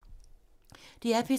DR P3